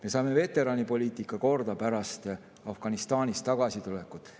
Me saime veteranipoliitika korda pärast Afganistanist tagasitulekut.